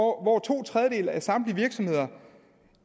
hvor to tredjedele af samtlige virksomheder